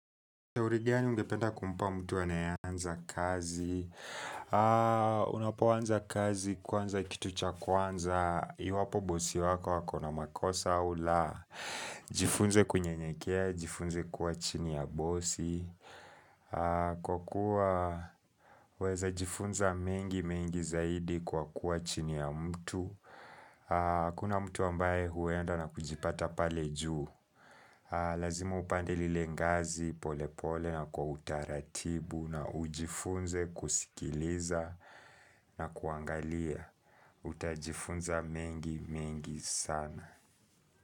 Uri gani ungependa kumpa mtu anayeanza kazi unapoanza kazi, kwanza kitu cha kwanza Iwapo bosi wako ako na makosa au la Jifunze kunyenyekea, jifunze kuwa chini ya bosi Kwa kuwa waeza jifunza mengi mengi zaidi kwa kuwa chini ya mtu Kuna mtu ambaye huenda na kujipata pale juu Lazima upande lile ngazi pole pole na kwa utaratibu na ujifunze kusikiliza na kuangalia. Utajifunza mengi mengi sana.